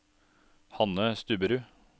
Hanne Stubberud